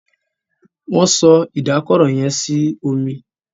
Wón so Ìdákọrò yén sínú omí.